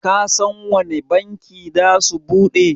Kasan wanne banki zasu bude?